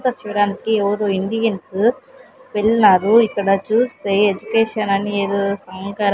ఇక్కడ చూడానికి ఎవరో ఇండియన్సు వెళ్ళినారు ఇక్కడ చూస్తే ఎడ్యుకేషన్ అని ఏదో సంకర --